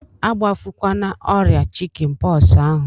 Agbafukwana ọrịa chikin pọksi ahụ!